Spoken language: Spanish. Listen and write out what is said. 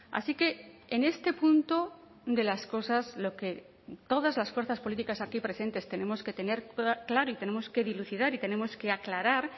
así que en este punto de las cosas lo que todas las fuerzas políticas aquí presentes tenemos que tener claro y tenemos que dilucidar y tenemos que aclarar